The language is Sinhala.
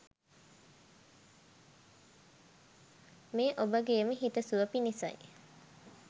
මේ ඔබගේම හිත සුව පිණිසයි.